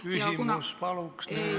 Küsimus, palun!